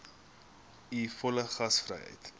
u volle gasvryheid